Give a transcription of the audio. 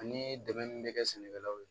Ani dɛmɛ min bɛ kɛ sɛnɛkɛlaw ye